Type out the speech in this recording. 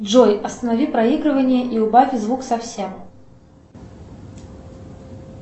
джой останови проигрывание и убавь звук совсем